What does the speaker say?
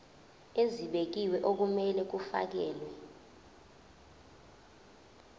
ezibekiwe okumele kufakelwe